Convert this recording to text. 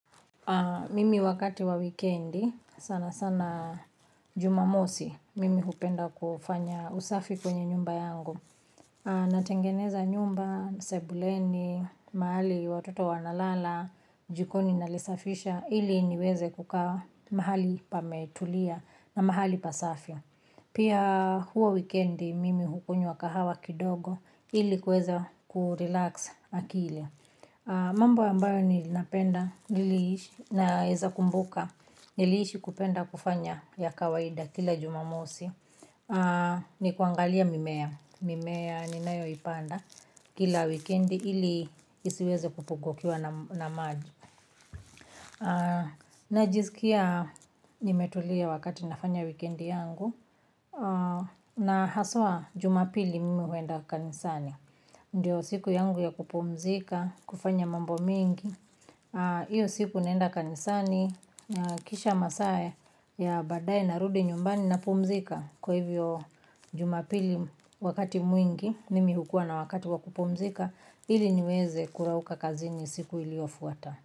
Mimi wakati wa wikendi, sana sana jumamosi, mimi hupenda kufanya usafi kwenye nyumba yangu. Natengeneza nyumba, sebuleni, mahali watoto wanalala, jikoni na lisafisha, ili niweze kukaa mahali pametulia na mahali pasafi. Pia huwa wikendi, mimi hukunywa kahawa kidogo, ili kuweza kurelax akili. Mambo ambayo ni napenda niliishi naeza kumbuka nilishi kupenda kufanya ya kawaida kila jumamosi. Ni kuangalia mimea, mimea ni nayo ipanda kila wikendi ili isiweze kupungukiwa na maji. Najizkia nimetulia wakati nafanya wikendi yangu. Na haswa jumapili mimi huenda kanisani. Ndiyo siku yangu ya kupumzika, kufanya mambo mengi, iyo siku naenda kanisani, kisha masaa ya baadae na rudi nyumbani na pumzika kwa hivyo jumapili wakati mwingi, nimi hukua na wakati wa kupumzika, ili niweze kurauka kazi ni siku iliyofuata.